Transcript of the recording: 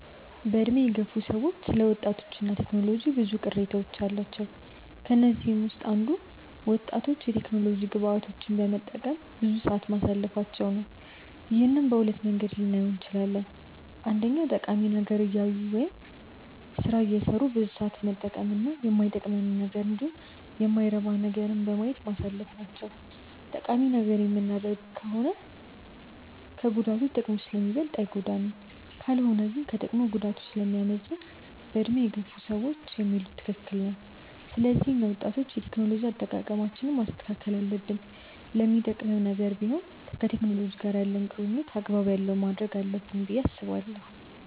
በዕድሜ የገፉ ሰዎች ስለ ወጣቶች እና ቴክኖሎጂ ብዙ ቅሬታዎች አሏቸው። ከነዚህም ውስጥ አንዱ ወጣቶች የቴክኖሎጂ ግብአቶችን በመጠቀም ብዙ ሰዓት ማሳለፋቸው ነው። ይህንን በሁለት መንገድ ልናየው እንችላለን። አንደኛ ጠቃሚ ነገር እያዩ ወይም ደግሞ ስራ እየሰሩ ብዙ ሰዓት መጠቀም እና ማይጠቅመንንን እንዲሁም የማይረባ ነገርን በማየት ማሳለፍ ናቸው። ጠቃሚ ነገር የምናደርግ ከሆነ ከጉዳቱ ጥቅሙ ስለሚበልጥ አይጎዳንም። ካልሆነ ግን ከጥቅሙ ጉዳቱ ስለሚያመዝን በዕድሜ የገፉ ሰዎች የሚሉት ትክክል ነው። ስለዚህ እኛ ወጣቶች የቴክኖሎጂ አጠቃቀማችንን ማስተካከል አለብን። ለሚጠቅምም ነገር ቢሆን ከቴክኖሎጂ ጋር ያለንን ቁርኝነት አግባብ ያለው ማድረግ አለብን ብዬ አስባለሁ።